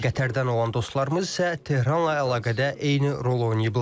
Qətərdən olan dostlarımız isə Tehranla əlaqədə eyni rol oynayıblar.